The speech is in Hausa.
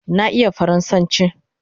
Na iya faransanchi